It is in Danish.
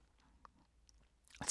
TV 2